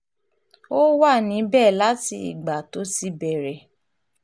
ó wà níbẹ̀ láti ìgbà tó ti bẹ̀rẹ̀